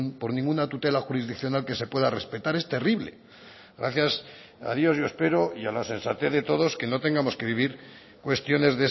por ninguna tutela jurisdiccional que se pueda respetar es terrible gracias a dios yo espero y a la sensatez de todos que no tengamos que vivir cuestiones